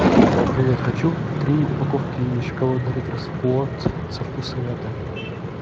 привет хочу три упаковки шоколада риттер спорт со вкусом мяты